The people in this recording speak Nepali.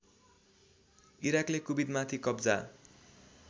इराकले कुबेतमाथि कब्जा